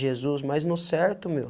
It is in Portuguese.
Jesus, mas no certo, meu.